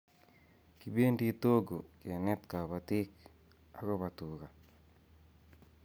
Kipend TOGO kente kabatik ako ba tuka